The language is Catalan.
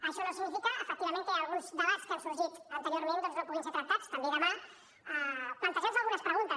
això no significa efectivament que alguns debats que han sorgit anteriorment doncs no puguin ser tractats també demà i plantejar nos algunes preguntes